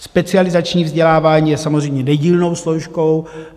Specializační vzdělávání je samozřejmě nedílnou složkou.